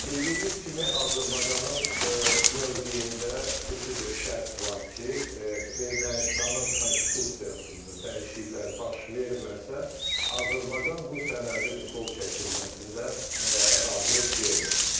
Bildiyiniz kimi, Azərbaycanın mövqeyində xüsusi bir şərt var ki, Ermənistanın konstitusiyasında dəyişikliklər baş verməsə, Azərbaycan bu sənədin qol çəkilməsində razılıq vermir.